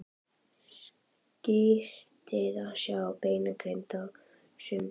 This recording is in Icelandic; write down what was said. Skrýtið að sjá þessa beinagrind á sundskýlu!